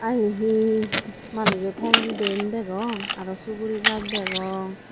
ah ye hi manujo teng diyen degong aro suguri gach degong.